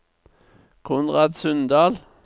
Konrad Sundal